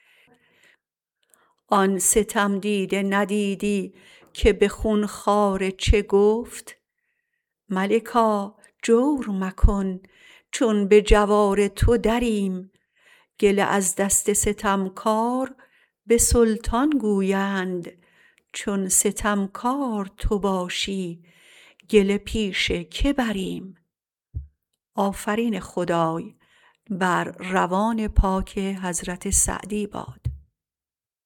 آن ستمدیده ندیدی که به خونخواره چه گفت ملکا جور مکن چون به جوار تو دریم گله از دست ستمکار به سلطان گویند چون ستمکار تو باشی گله پیش که بریم